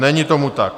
Není tomu tak.